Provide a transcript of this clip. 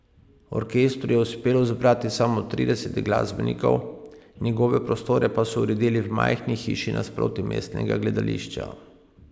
Orkestru je uspelo zbrati samo trideset glasbenikov, njegove prostore pa so uredili v majhni hiši nasproti mestnega gledališča.